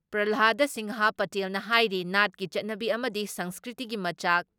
ꯄ꯭ꯔꯜꯍꯥꯗ ꯁꯤꯡꯍ ꯄꯇꯦꯜꯅ ꯍꯥꯏꯔꯤ ꯅꯥꯠꯀꯤ ꯆꯠꯅꯕꯤ ꯑꯃꯗꯤ ꯁꯪꯁꯀ꯭ꯔꯤꯇꯤꯒꯤ ꯃꯆꯥꯛ